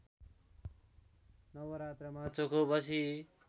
नवरात्रमा चोखो बसी